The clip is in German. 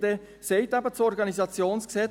Dann sagt eben das Organisationsgesetz: